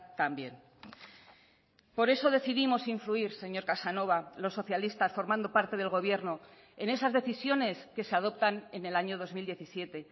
también por eso decidimos influir señor casanova los socialistas formando parte del gobierno en esas decisiones que se adoptan en el año dos mil diecisiete